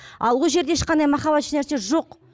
ал ол жерде ешқандай махаббат ешнәрсе жоқ